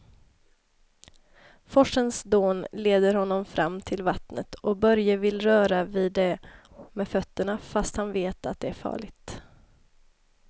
Forsens dån leder honom fram till vattnet och Börje vill röra vid det med fötterna, fast han vet att det är farligt.